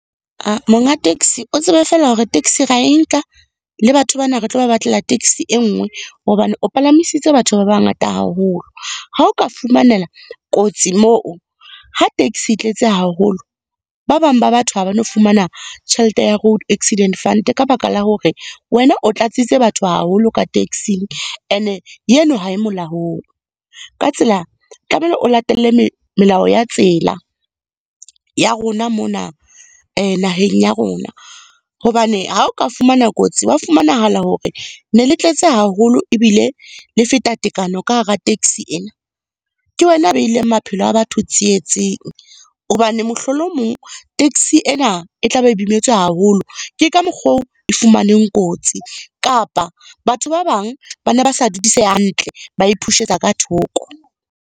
Monga taxi, o tsebe fela hore taxi ra e nka le batho bana, re tlo ba batlela taxi e nngwe, hobane o palamisitse batho ba bangata haholo. Ha o ka fumanela kotsi moo, ha taxi e tletse haholo, ba bang ba batho ha ba no fumana tjhelete ya Road Accident Fund, ka baka la hore wena o tlatsitse batho haholo ka taxi-ing. E ne eno ha e molaong. Ka tsela o latele melao ya tsela, ya rona mona naheng ya rona. Hobane ha o ka fumana kotsi, wa fumanahala hore ne le tletse haholo ebile le feta tekano ka hara taxi ena. Ke wena a beileng maphelo a batho tsietseng, hobane mohlolo o mong, taxi ena e tla be e imetswe haholo. Ke ka mokgo e fumaneng kotsi kapa batho ba bang, bana ba sa dudiseha hantle ba e push-etsa ka thoko.